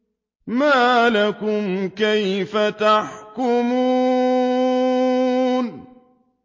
مَا لَكُمْ كَيْفَ تَحْكُمُونَ